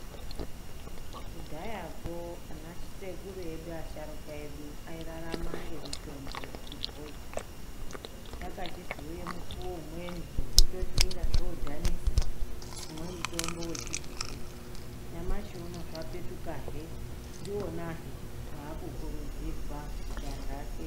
KUDHAYAKO, AN SEKURU EDU, ASHARUKA EDU AIRARAMA NGEMITOMBO YECHIBHOI. KWAKACHIZOUYE MUKUWO UMWENI WEKUTOTI INGAZVODHANISA KUMWA MUTOMBO WECHIBHOI. NYAMASHIUNO ZVAPETUKAHE, NDIWONAHE WAAKUKURUDZIRWA KUTI ANTU ASENZESE.